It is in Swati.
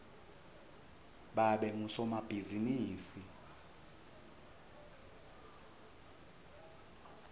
babe ngusomabhizimisi